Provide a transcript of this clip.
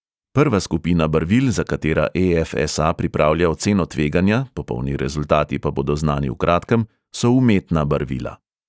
Prva skupina barvil, za katera e|ef|es|a pripravlja oceno tveganja, popolni rezultati pa bodo znani v kratkem, so umetna barvila.